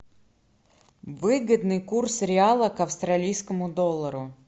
выгодный курс реала к австралийскому доллару